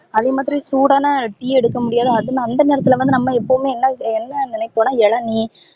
அதே மாதிரி சூடான டீ எடுக்க முடியாது அத அந்த நேரத்துல நம்ப எப்போமே என்ன என்ன நினைபோன இளநீர்